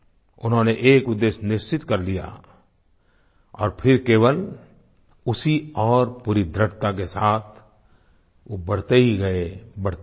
उन्होंने एक उद्देश्य निश्चित कर लिया और फिर केवल उसी ओर पूरी दृढ़ता के साथ वो बढ़ते ही गए बढ़ते ही गए